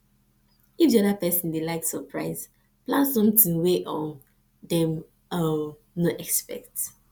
if di oda person dey like surprise plan something wey um dem um no expect